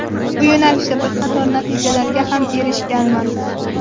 Bu yo‘nalishda bir qator natijalarga ham erishganman.